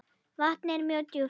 Vatnið er mjög djúpt.